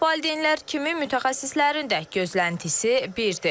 Valideynlər kimi mütəxəssislərin də gözləntisi birdir.